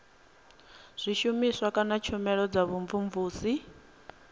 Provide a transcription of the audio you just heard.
zwishumiswa kana tshumelo dza vhumvumvusi